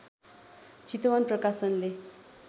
चितवन प्रकाशनले